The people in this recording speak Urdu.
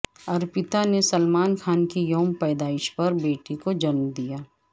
ارپتا نے سلمان خان کے یوم پیدائش پر بیٹی کو جنم دیا